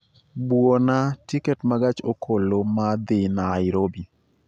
Buona tiket ma gach okoloma dhi Nairobi